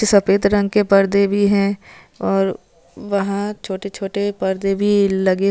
सपेद रंग के पर्दे भी है और वहा छोटे छोटे पर्दे भी लगे--